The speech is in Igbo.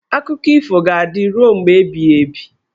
Akụkọ ifo ga-adịru mgbe ebighị ebi.